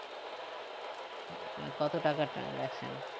মানে কত টাকার transaction